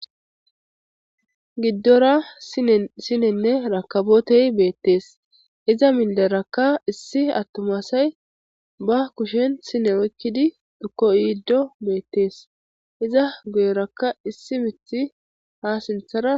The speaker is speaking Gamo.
Giddora esinenne rakabotey beettees iza minderakka issi attomasay ba kushen sine wkkidi dhukko iiddo beettees iza guyeraka issi mithi haa sinthara.